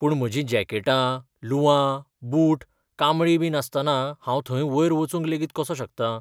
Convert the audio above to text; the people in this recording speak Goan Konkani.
पूण, म्हजीं जॅकेटां, लुंवां, बूट, कांबळी बी नासतना हांव थंय वयर वचूंक लेगीत कसो शकतां ?